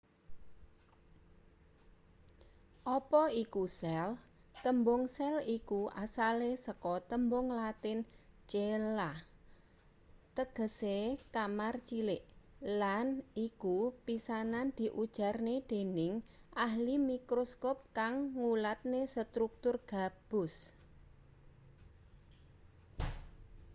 apa iku sel tembung sel iku asale saka tembung latin cella tegese kamar cilik lan iku pisanan diujarne dening ahli mikroskop kang ngulatne struktur gabus